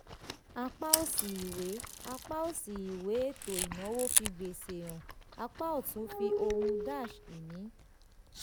apá òsì ìwé apá òsì ìwé ètò ìnáwó fi gbèsè hàn; apá ọ̀tún fi ohun-ìní.